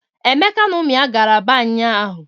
Emeka na ụmụ ya gara Aba ụnyaahụ.